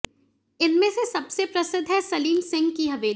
इनमें से सबसे प्रसिद्ध है सलीम सिंह की हवेली